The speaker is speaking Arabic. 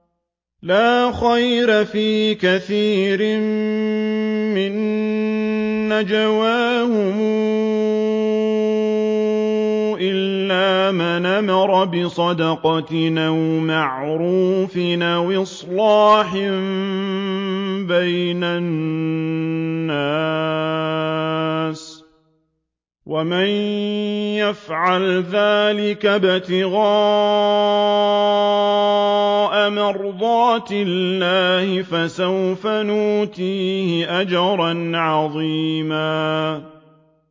۞ لَّا خَيْرَ فِي كَثِيرٍ مِّن نَّجْوَاهُمْ إِلَّا مَنْ أَمَرَ بِصَدَقَةٍ أَوْ مَعْرُوفٍ أَوْ إِصْلَاحٍ بَيْنَ النَّاسِ ۚ وَمَن يَفْعَلْ ذَٰلِكَ ابْتِغَاءَ مَرْضَاتِ اللَّهِ فَسَوْفَ نُؤْتِيهِ أَجْرًا عَظِيمًا